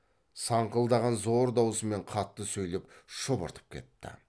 саңқылдаған зор даусымен қатты сөйлеп шұбыртып кетті